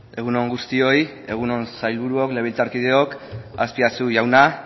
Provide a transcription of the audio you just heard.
egun on guztioi egun on sailburua legebiltzarkideok azpiazu jauna